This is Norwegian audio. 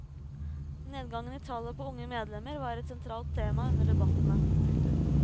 Nedgangen i tallet på unge medlemmer var et sentralt tema under debattene. punktum